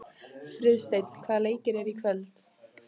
Friðsteinn, hvaða leikir eru í kvöld?